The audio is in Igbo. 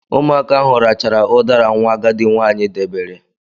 Ụmụaka ahụ rachara udara nwa agadi nwaanyị debere